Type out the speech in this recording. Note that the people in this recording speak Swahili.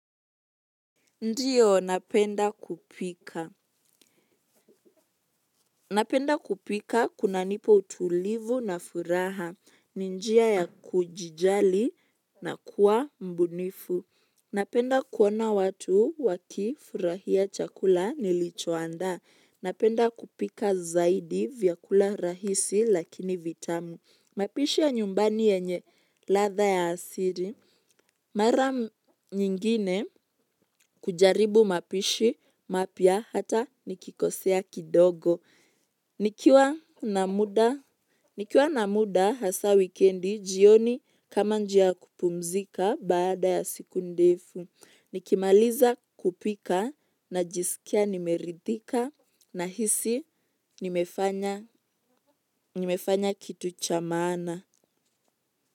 Ndiyo, napenda kupika. Napenda kupika kunanipa utulivu na furaha. Ni. Njia ya kujijali na kuwa mbunifu. Napenda kuona watu wakifurahia chakula nilichoandaa. Napenda kupika zaidi vyakula rahisi lakini vitamu mapishi ya nyumbani yenye ladha ya asiri. Mara nyingine kujaribu mapishi mapya hata nikikosea kidogo. Nikiwa nikiwa na muda hasa wikendi jioni kama njia ya kupumzika baada ya siku ndefu. Nikimaliza kupika na jisikia nimeridhika na hisi nimefanya kitu cha maana.